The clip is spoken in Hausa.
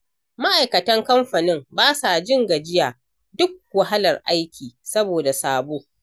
Ma'aikatan kamfanin basa jin gajiya duk wahalar aiki saboda sabo.